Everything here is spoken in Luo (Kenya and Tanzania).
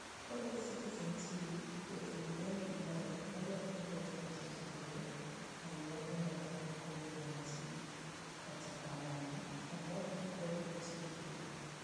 Koloso Citizen TV, jathum Ben Githae neolero ni jothum osechandore, ahinya e ndalo mag Covid-19. Kata kamano, omor ni koro nitie geno.